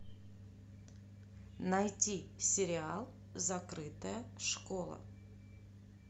найти сериал закрытая школа